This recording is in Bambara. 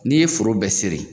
N'i ye foro bɛɛ sere